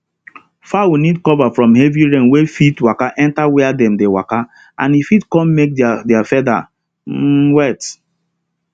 fowl need cover from heavy rain wey fit waka enter where dem dey waka and e fit come make their their feather um wet